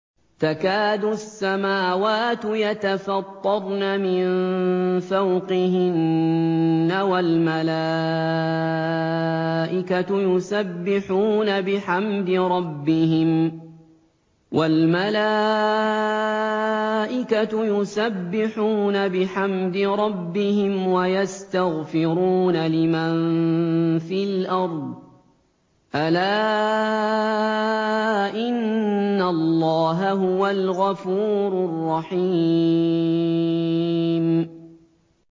تَكَادُ السَّمَاوَاتُ يَتَفَطَّرْنَ مِن فَوْقِهِنَّ ۚ وَالْمَلَائِكَةُ يُسَبِّحُونَ بِحَمْدِ رَبِّهِمْ وَيَسْتَغْفِرُونَ لِمَن فِي الْأَرْضِ ۗ أَلَا إِنَّ اللَّهَ هُوَ الْغَفُورُ الرَّحِيمُ